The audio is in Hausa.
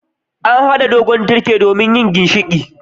An hada dogon tirke domin yin ginshiƙi.